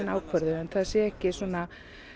ákvörðuð en það sé ekki svona